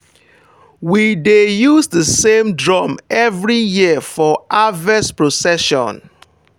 we dey use the same drum every year for harvest procession.